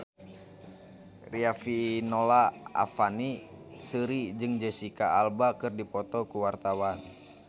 Riafinola Ifani Sari jeung Jesicca Alba keur dipoto ku wartawan